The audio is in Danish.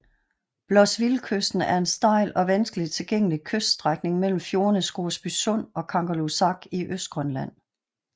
Blossevillekysten er en stejl og vanskeligt tilgængelig kyststrækning mellem fjordene Scoresby Sund og Kangerlussuaq i Østgrønland